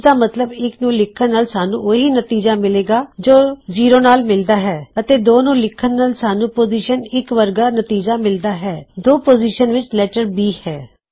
ਇਸਦਾ ਮੱਤਲਬ ਇੱਕ ਨੂੰ ਲਿਖਣ ਨਾਲ ਸਾਨੂੰ ਉਹ ਹੀ ਨਤੀਜਾ ਮਿਲੇਗਾ ਜੋ ਜ਼ੀਰੋ ਨਾਲ਼ ਮਿਲਦਾ ਹੈ ਅਤੇ 2 ਨੂੰ ਲਿਖਣ ਨਾਲ ਸਾਨੂੰ ਪੋਜ਼ਿਸ਼ਨ 1 ਵਰਗਾ ਨਤੀਜਾ ਮਿਲਦਾ ਹੈ 2 ਪੋਜ਼ਿਸ਼ਨ ਵਿੱਚ ਲੈਟਰ B ਹੈ